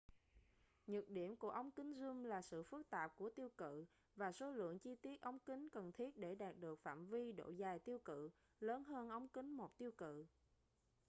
nhược điểm của ống kính zoom là sự phức tạp của tiêu cự và số lượng chi tiết ống kính cần thiết để đạt được phạm vi độ dài tiêu cự lớn hơn ống kính một tiêu cự